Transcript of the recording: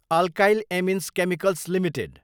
alkyl amines chemicals Ltd